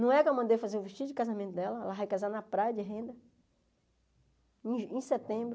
Não é que eu mandei fazer o vestido de casamento dela, ela vai casar na praia de renda, em em setembro.